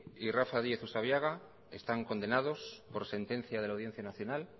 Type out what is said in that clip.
y rafa díez usabiaga están condenados por sentencia de la audiencia nacional